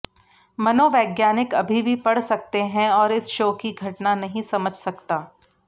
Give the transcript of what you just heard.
मनोवैज्ञानिक अभी भी पढ़ सकते हैं और इस शो की घटना नहीं समझ सकता